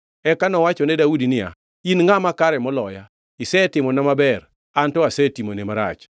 Eka nowachone Daudi niya, “In ngʼama kare maloya. Isetimona maber, an to asetimoni marach.